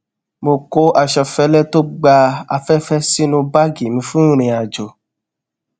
mo kó aṣọ fẹlẹ tó gba afẹfẹ sínú báàgì mi fún ìrìnàjò